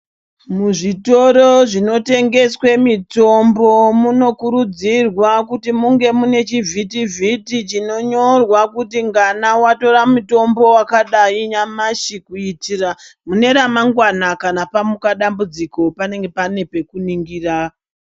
Muzvitoro zvinotengeswa mitombo munokurudzirwa kuti munge mune chivhiti vhiti chinonyorwa kuti ngana watora mutombo wakadai nyamashi kuitira mune ramangwana kana pamuka dambudziko panenge pane pekuningira.